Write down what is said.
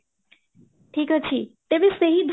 ଠିକ ଅଛି ତେବେ ସେହି